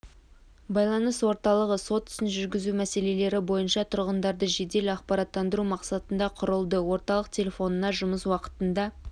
байланыс орталығы сот ісін жүргізу мәселелері бойынша тұрғындарды жедел ақпараттандыру мақсатында құрылды орталық телефонына жұмыс уақытында